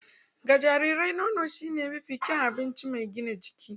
Ga jarirai, nono shine mafi kyawun abinci mai gina jiki